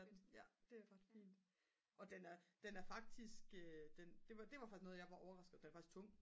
og den er den er faktisk det var faktisk noget jeg var overrasket den er faktisk tung